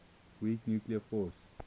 weak nuclear force